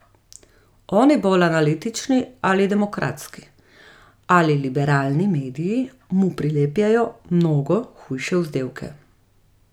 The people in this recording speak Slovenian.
Oni bolj analitični, ali demokratski, ali liberalni mediji mu prilepljajo mnogo hujše vzdevke.